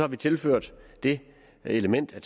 vi tilført det element at